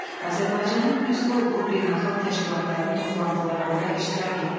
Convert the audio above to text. Azərbaycanın üzv olduğu beynəlxalq təşkilatların toplantılarında iştirak etdi.